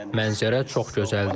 Mənzərə çox gözəldir.